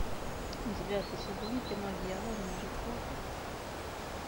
девятый сезон кино дьявол может плакать